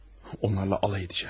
Onlarla alay edəcəm.